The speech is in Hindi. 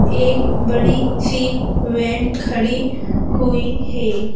एक बड़ी सी वैन खड़ी हुई है।